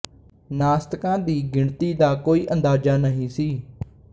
ਨਾਸਤਕਾਂ ਦੀ ਗਿਣਤੀ ਦਾ ਕੋਈ ਅੰਦਾਜ਼ਾ ਨਹੀਂ ਸੀ